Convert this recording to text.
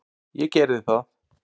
Ég gerði það.